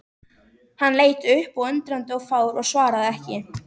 Hann leit upp undrandi og fár og svaraði ekki.